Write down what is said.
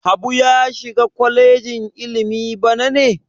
Habu ya shiga kwalejin ilimi bana ne?